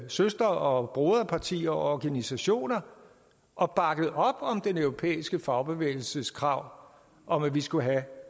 søster og broderpartier og organisationer og bakket op om den europæiske fagbevægelses krav om at vi skulle have